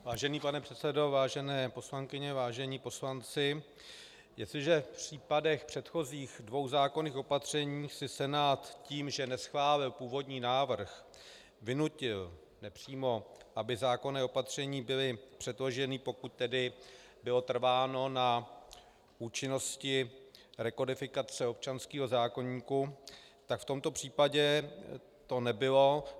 Vážený pane předsedo, vážené poslankyně, vážení poslanci, jestliže v případech předchozích dvou zákonných opatření si Senát tím, že neschválil původní návrh, vynutil nepřímo, aby zákonná opatření byla předložena, pokud tedy bylo trváno na účinnosti rekodifikace občanského zákoníku, tak v tomto případě to nebylo.